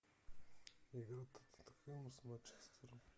игра тоттенхэма с манчестером